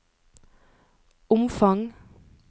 omfang